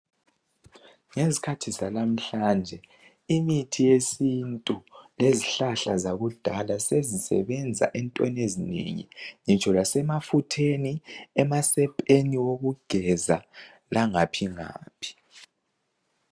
Ngezikhathi zanamuhlanje imithi yesintu lezihlahla zakudala sezisebenza entweni ezinengi ngitsho lasemafutheni, emasepeni okugeza langaphi ngaphi.